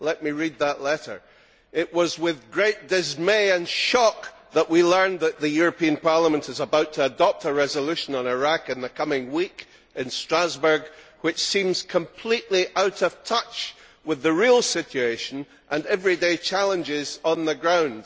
Let me read that letter It was with great dismay and shock that we learned that the European Parliament is about to adopt a resolution on Iraq in the coming week in Strasbourg which seems completely out of touch with the real situation and everyday challenges on the ground.